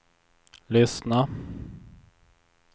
lyssna